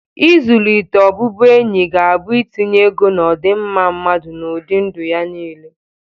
Ịzụlite ọbụbụenyi ga-abụ itinye ego n'ọdịmma mmadụ na ụdị ndụ ya niile.